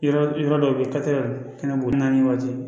Yɔrɔ yɔrɔ dɔw bɛ ye ka tɛmɛ kɛnɛboli waati